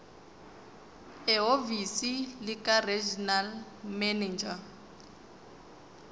ehhovisi likaregional manager